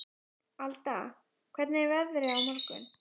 Alda, hvernig er veðrið á morgun?